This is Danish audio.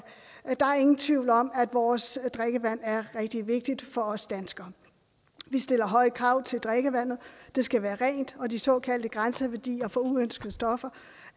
ingen tvivl om at vores drikkevand er rigtig vigtigt for os danskere vi stiller høje krav til drikkevandet det skal være rent og de såkaldte grænseværdier for uønskede stoffer